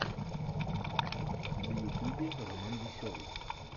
в ютюбе романвеселый